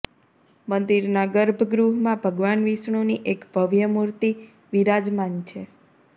મંદિરના ગર્ભગૃહમાં ભગવાન વિષ્ણુની એક ભવ્ય મૂર્તિ વિરાજમાન છે